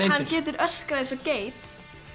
hann getur öskrað eins og geit